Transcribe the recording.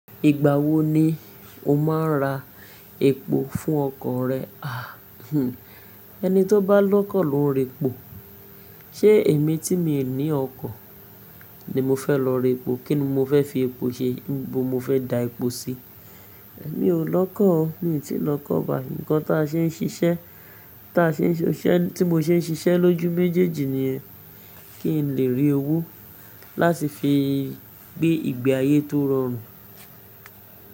Ìgbà wo ni o máa ra epo fún ọkọ̀ rẹ? Ah hmm ẹni tó bá lọ́kọ̀ ló ń rẹ epo. Ṣé èmi tí mi ní ọkọ̀ ni mo fẹ́ lọ ra epo? Kí ni mo fẹ́ fi epo ṣe? Níbo mo fẹ́ da epo sí? Mi ò lọ́kọ̀ o, mi ò tí ì lọ kọ́ ọba. Nǹkan ta ṣe ń ṣiṣẹ́, tí mo ṣe ń ṣiṣẹ́ lójú méjèèjì nìyẹn. Kí n lè rí owó láti fi gbé ìgbé ayé tó rọrùn.